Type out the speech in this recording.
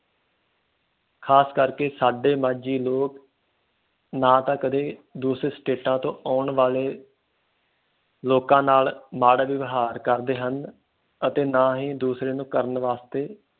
ਖਾਸ ਕਰਕੇ ਸਾਡੇ ਮਾਝੀ ਲੋਕ ਨਾ ਤਾ ਕਦੇ ਦੂਸਰੇ ਸਟੇਟਾਂ ਤੋਂ ਆਉਣ ਵਾਲੇ ਲੋਕਾਂ ਨਾ ਮਾੜਾ ਵਏਵਹਾਰ ਕਰਦੇ ਹਨ ਅਤੇ ਨਾ ਹੀ ਦੂਸਰਿਆਂ ਨੂੰ ਕਰਨ ਵਾਸਤੇ